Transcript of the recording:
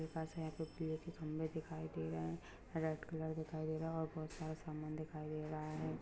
पास में खभे दिखाय दे रहे है रेड कलर और बहुत सारा सामान दिखाय दे रहा है।